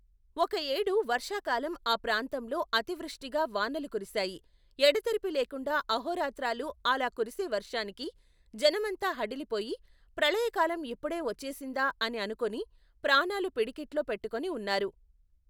ఒక యేడు వర్షాకాలం ఆ ప్రాంతంలో అతివృష్టిగా వానలు కురిశాయి ఎడతెరిపి లేకుండా అహోరాత్రాలూ అలా కురిసే వర్షానికి జనమంతా హడలిపోయి ప్రళయకాలం ఇప్పుడే వచ్చేసిందా అని అనుకొని ప్రాణాలు పిడికిట్లో పెట్టుకుని ఉన్నారు.